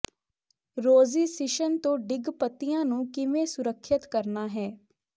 ਰੌਜ਼ਿਸਿਸ਼ਨ ਤੋਂ ਡਿੱਗ ਪੱਤੀਆਂ ਨੂੰ ਕਿਵੇਂ ਸੁਰੱਖਿਅਤ ਕਰਨਾ ਹੈ